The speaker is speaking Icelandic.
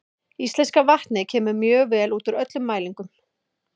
Íslenska vatnið kemur mjög vel út úr öllum mælingum.